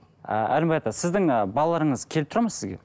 ы әлімбай ата сіздің ы балаларыңыз келіп тұрады ма сізге